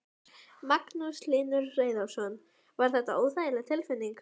Magnús Hlynur Hreiðarsson: Var þetta óþægileg tilfinning?